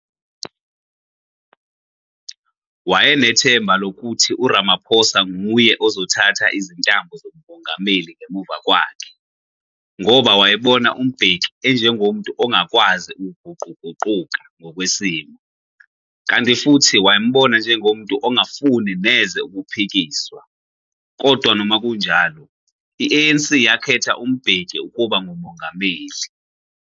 Wayenethemba lokuthi Ramaphosa nguye ozothatha izintambo zobungameli ngemuva kwakhe, ngoba wayebona uMbeki enjengomuntu ongakwawzi uguquguquka ngokwesimo, kanti futhi wayembona engumuntu ongafuni neze ukuphikiswa, kodwa noma kunjaloi, i-ANC yakhetha uMbeki ukuba nguMongameli.